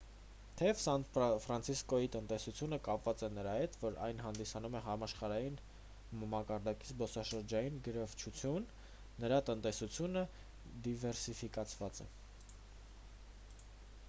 թեև սան ֆրանցիսկոյի տնտեսությունը կապված է նրա հետ որ այն հանդիսանում է համաշխարհային մակարդակի զբոսաշրջային գրավչություն նրա տնտեսությունը դիվերսիֆիկացված է